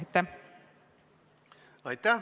Aitäh!